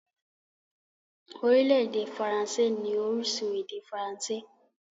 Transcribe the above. Orílẹ̀-èdè faransé ní orísun èdè faransé.